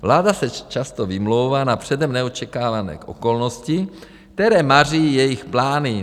Vláda se často vymlouvá na předem neočekávané okolnosti, které maří jejich plány.